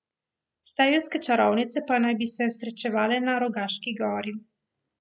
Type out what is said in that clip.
Štajerske čarovnice pa naj bi se srečevale na Rogaški gori.